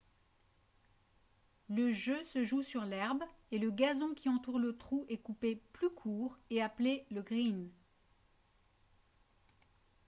le jeu se joue sur l'herbe et le gazon qui entoure le trou est coupé plus court et appelé le « green »